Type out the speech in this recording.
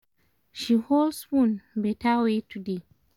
she hold spoon better way today